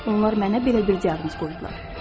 Onlar mənə belə bir diaqnoz qoydular.